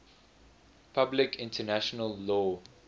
public international law